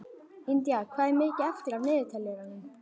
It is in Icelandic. Indía, hvað er mikið eftir af niðurteljaranum?